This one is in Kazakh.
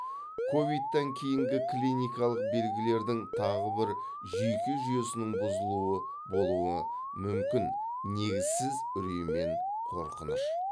ковидтан кейінгі клиникалық белгілердің тағы бір жүйке жүйесінің бұзылуы болуы мүмкін негізсіз үрей мен қорқыныш